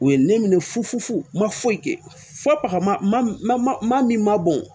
U ye ne minɛ fufu ma foyi kɛ fɔ pa min ma bɔn